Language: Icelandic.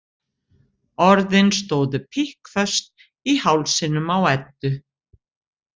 Orðin stóðu pikkföst í hálsinum á Eddu.